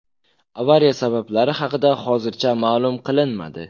Avariya sabablari haqida hozircha ma’lum qilinmadi.